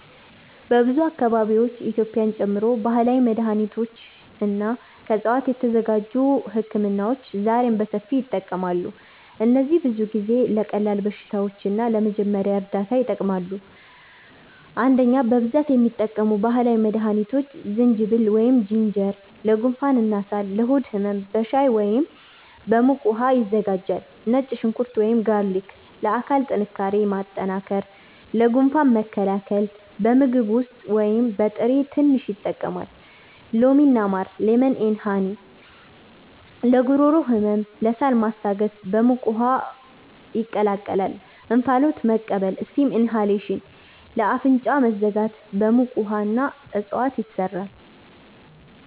በብዙ አካባቢዎች (በኢትዮጵያ ጨምሮ) ባህላዊ መድሃኒቶች እና ከዕፅዋት የተዘጋጁ ህክምናዎች ዛሬም በሰፊው ይጠቀማሉ። እነዚህ ብዙ ጊዜ ለቀላል በሽታዎች እና ለመጀመሪያ እርዳታ ይጠቅማሉ። 1) በብዛት የሚጠቀሙ ባህላዊ መድሃኒቶች ዝንጅብል (Ginger) ለጉንፋን እና ሳል ለሆድ ህመም በሻይ ወይም በሙቅ ውሃ ይዘጋጃል ነጭ ሽንኩርት (Garlic) ለአካል ጥንካሬ ማጠናከር ለጉንፋን መከላከል በምግብ ውስጥ ወይም በጥሬ ትንሽ ይጠቀማል ሎሚ እና ማር (Lemon & Honey) ለጉሮሮ ህመም ለሳል ማስታገስ በሙቅ ውሃ ይቀላቀላል እንፋሎት መቀበል (Steam inhalation) ለአፍንጫ መዘጋት በሙቅ ውሃ እና እፅዋት ይሰራል